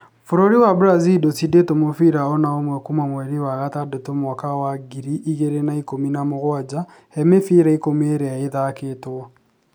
Bũrũri wa Brazil ndũcindĩtwo mũbira o na ũmwe kuuma mweri wa gatandatu mwaka wa ngiri igĩrĩ na ikũmi na mugwanja he mĩbira ikũmi ĩria ĩthakĩtwo.